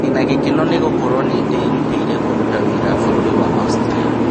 Ndĩna gĩkeno nĩ gũkorwo nĩ ndĩrutĩire kũrutĩra wĩra bũrũri wa Austria